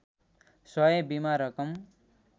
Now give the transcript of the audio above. सय बिमा रकम